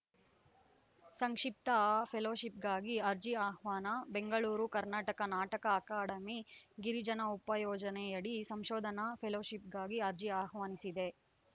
ಸಂಕ್ಷಿಪ್ತ ಫೆಲೋಶಿಪ್‌ಗಾಗಿ ಅರ್ಜಿ ಆಹ್ವಾನ ಬೆಂಗಳೂರು ಕರ್ನಾಟಕ ನಾಟಕ ಅಕಾಡೆಮಿ ಗಿರಿಜನ ಉಪಯೋಜನೆಯಡಿ ಸಂಶೋಧನಾ ಫೆಲೋಶಿಪ್‌ಗಾಗಿ ಅರ್ಜಿ ಆಹ್ವಾನಿಸಿದೆ